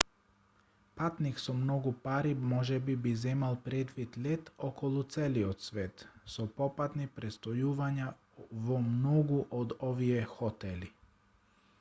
патник со многу пари можеби би земал предвид лет околу целиот свет со попатни престојувања во многу од овие хотели